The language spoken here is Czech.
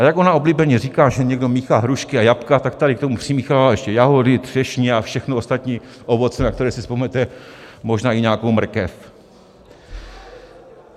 A jak ona oblíbeně říká, že někdo míchá hrušky a jablka, tak tady k tomu přimíchává ještě jahody, třešně a všechno ostatní ovoce, na které si vzpomenete, možná i nějakou mrkev.